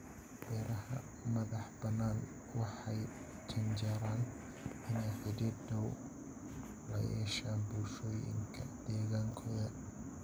Beeraha madax-bannaan waxay u janjeeraan inay xidhiidh dhow la yeeshaan bulshooyinka deegaankooda.